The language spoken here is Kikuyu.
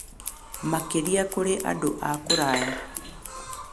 Makĩria kũrĩ andũ a kũraya.